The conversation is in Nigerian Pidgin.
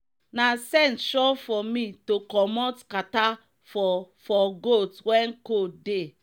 na scent sure for me to commot kata for for goat wen cold dey